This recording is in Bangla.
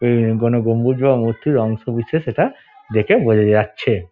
এ কোন গম্বুজ বা মূর্তির অংশ বিশেষ এটা দেখে বোঝা যাচ্ছে।